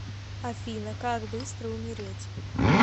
афина как быстро умереть